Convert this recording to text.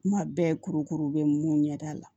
Kuma bɛɛ kurukuru bɛ mun ɲɛda la